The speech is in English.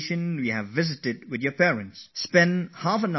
Just come out of that exam mindset and spend half an hour with your parents